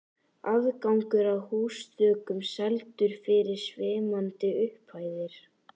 Aðgangur að húsþökum seldur fyrir svimandi upphæðir.